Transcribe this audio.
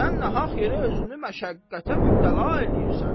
Sən nahaq yerə özünü məşəqqətə mübtəla eləyirsən.